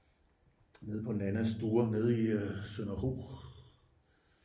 nede på nannas store nede i sønderho